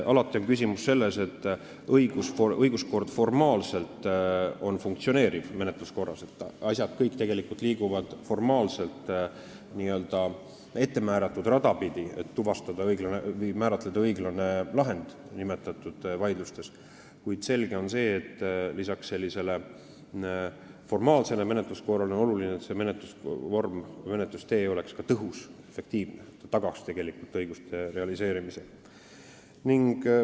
Küsimus on selles, et õiguskord võib formaalselt olla täiesti funktsioneeriv ning menetluskorras võivad asjad liikuda formaalselt n-ö ettemääratud rada pidi, selleks et vaidlustes määrata kindlaks õiglane lahend, kuid selge on see, et lisaks sellisele formaalsele menetluskorrale on oluline, et menetlusvorm või menetlustee oleks ka tõhus ja efektiivne ning tagaks tegelikult õiguste realiseerimise.